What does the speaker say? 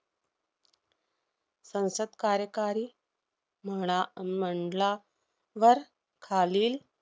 संसद कार्यकारी म्हणा~ अह मंडलावर खालील